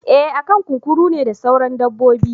Eh akan kunkuru ne da sauran dabbobin.